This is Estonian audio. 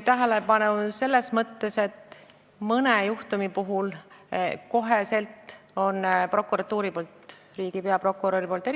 Selles mõttes, et mõne juhtumi puhul annab prokuratuur ja eriti riigi peaprokurör kohe